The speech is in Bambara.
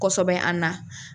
Kosɛbɛ an na.